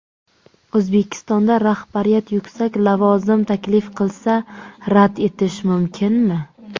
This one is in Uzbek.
O‘zbekistonda rahbariyat yuksak lavozim taklif qilsa, rad etish mumkinmi ?